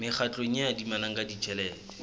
mekgatlo e adimanang ka tjhelete